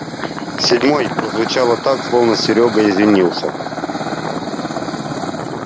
седьмой прозвучало так словно сеёега извинялся